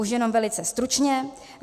Už jenom velice stručně.